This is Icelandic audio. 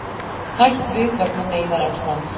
Hætt við vegna neyðarástands